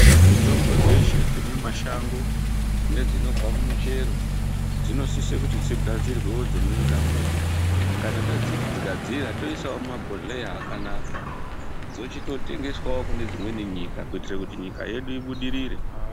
Mitombo dzeshe dzemumashango nedzinobva kumuchero, dzinosise kuti dzigadzirwe dzimweni kamweni. Kana tadzigadzira toyisawo mumabhodhleya akanaka. Dzochitotengeswayo kunedzimweni nyika kuyitira kuti nyika yesu ibudirire.